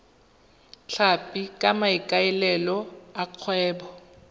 tlhapi ka maikaelelo a kgwebo